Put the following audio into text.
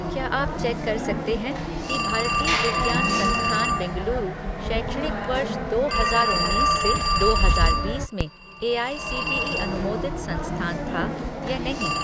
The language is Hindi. क्या आप चेक कर सकते हैं कि भारतीय विज्ञान संस्थान बेंगलुरु शैक्षणिक वर्ष दो हजार उन्नीस से दो हजार बीस में एआईसीटीई अनुमोदित संस्थान था या नहीं?